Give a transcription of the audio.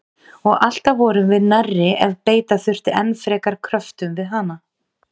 Og alltaf vorum við nærri ef beita þurfti enn frekari kröftum við hana.